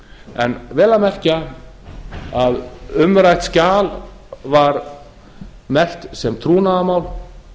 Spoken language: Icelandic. en vel að merkja umrætt skjal var merkt sem trúnaðarmál